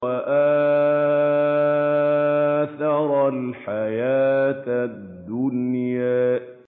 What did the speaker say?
وَآثَرَ الْحَيَاةَ الدُّنْيَا